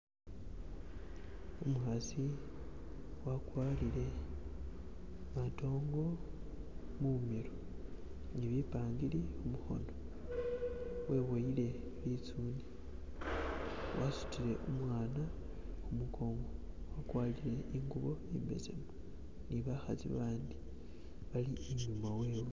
Umukasi agwatile katoogo mumilo ni bipangili kumukono weboyele lizune, asudile umwana kumugongo agwatile ingubo imbesemu nibakasi bandi bali inyuma wewe.